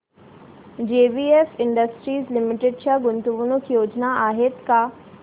JBF Industries Limited च्या गुंतवणूक योजना आहेत का